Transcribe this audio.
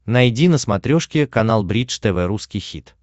найди на смотрешке канал бридж тв русский хит